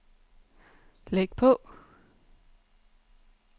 læg på